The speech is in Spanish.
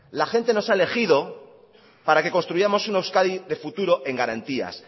la gente nos ha elegido para que construyamos una euskadi de futuro en garantías